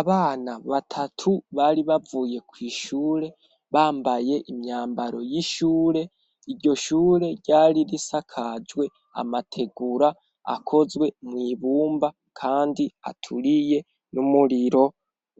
Abana batatu bari bavuye kw'ishure, bambaye imyambaro y'ishure, iryo shure ryari risakajwe amategura akozwe mw'ibumba kandi aturiye n'umuriro